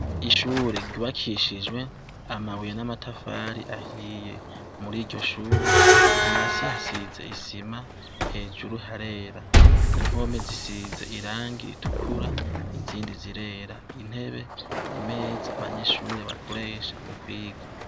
Ishure ryubakishijwe amabuye n'amatafari ahiye, muri iryo shure hasi hasize isima hejuru harera impome zisize irangi ritukura izindi zirera intebe imeza abanyeshure bakoresha mu kwiga.